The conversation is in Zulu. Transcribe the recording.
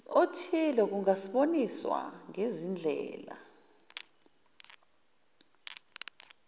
othile kungaboniswa ngezindlela